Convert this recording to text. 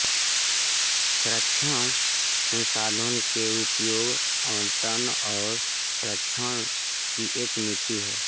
संरक्षण संसाधनों के उपयोग आवंटन और संरक्षण की एक नीति है